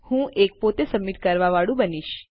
હું એક પોતે સબમિટ કરવાંવાળું બનાવીશ